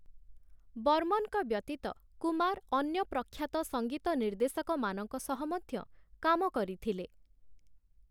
ବର୍ମନ୍‌‌ଙ୍କ ବ୍ୟତୀତ କୁମାର ଅନ୍ୟ ପ୍ରଖ୍ୟାତ ସଙ୍ଗୀତ ନିର୍ଦ୍ଦେଶକମାନଙ୍କ ସହ ମଧ୍ୟ କାମ କରିଥିଲେ ।